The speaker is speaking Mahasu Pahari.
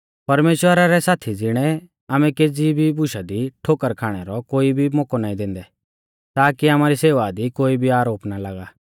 परमेश्‍वरा रै साथी ज़िणै आमै केज़ी भी बुशा दी ठोकर खाणै रौ कोई भी मोकौ नाईं दैंदै ताकी आमारी सेवा दी कोई भी आरोप ना लागा